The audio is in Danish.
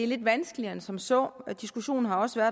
lidt vanskeligere end som så og diskussionen har også